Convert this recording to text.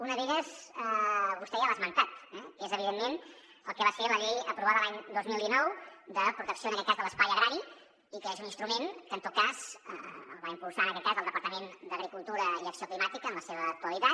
una d’elles vostè ja l’ha esmentat que és evidentment el que va ser la llei aprovada l’any dos mil dinou de protecció de l’espai agrari i que és un instrument que va impulsar en aquest cas del departament d’agricultura i acció climàtica en la seva actualitat